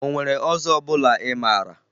O nwere ọzọ ọbụla ị mara?